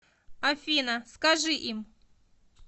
афина скажи им